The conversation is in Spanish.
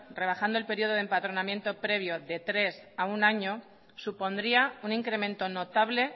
rebajando el período de empadronamiento previo de tres a uno año supondría un incremento notable